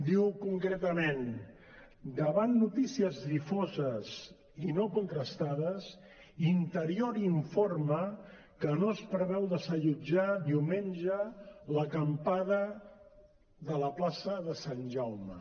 diu concretament davant notícies difoses i no contrastades interior informa que no es preveu desallotjar diumenge l’acampada de la plaça de sant jaume